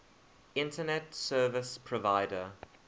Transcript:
internet service provider